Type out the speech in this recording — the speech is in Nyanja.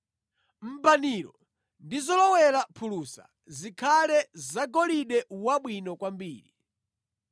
Mbaniro ndi zowolera phulusa zikhale zagolide wabwino kwambiri.